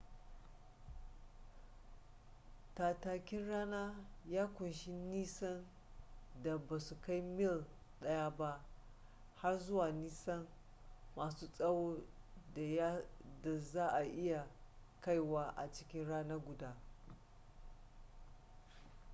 tattakin rana ya ƙunshi nisan da ba su kai mil daya ba har zuwa nisa masu tsawon da za a iya kaiwa a cikin rana guda